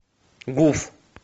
гуф